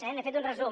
n’he fet un resum